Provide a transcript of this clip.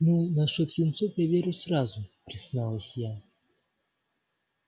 ну насчёт юнцов я верю сразу призналась я